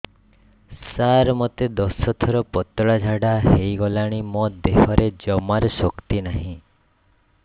ସାର ମୋତେ ଦଶ ଥର ପତଳା ଝାଡା ହେଇଗଲାଣି ମୋ ଦେହରେ ଜମାରୁ ଶକ୍ତି ନାହିଁ